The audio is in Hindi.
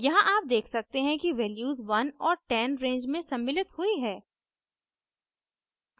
यहाँ आप देख सकते हैं कि वैल्यूज 1 और 10 रेंज में सम्मिलित हुई हैं